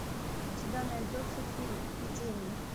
у тебя найдется фильм эпидемия